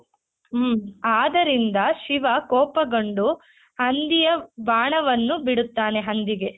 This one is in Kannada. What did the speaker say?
ಹಮ್ ಆದರಿಂದ ಶಿವ ಕೋಪಗೊಂಡು ಹಂದಿಯ ಬಾಣವನ್ನು ಬಿಡುತ್ತಾನೆ ಹಂದಿಗೆ.